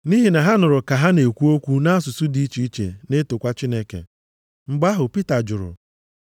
Nʼihi na ha nụrụ ka ha na-ekwu okwu nʼasụsụ dị iche iche na-etokwa Chineke. Mgbe ahụ Pita jụrụ,